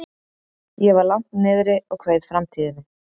Ég var langt niðri og kveið framtíðinni.